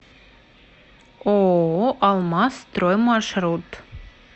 ооо алмаз строй маршрут